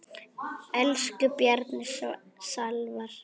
Elsku Bjarni Salvar.